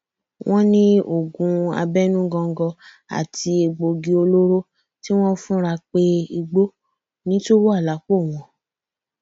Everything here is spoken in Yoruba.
wọn ní oògùn abẹnú góńgó àti egbòogi olóró tí wọn fura pé igbó ni tún wà lápò wọn